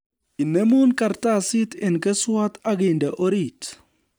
Inemu kartsit eng keswot akinde oriit